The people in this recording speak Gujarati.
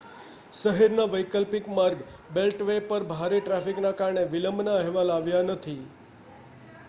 શહેરના વૈકલ્પિક માર્ગ બેલ્ટવે પર ભારે ટ્રાફિકના કારણે વિલંબના અહેવાલ આવ્યા નથી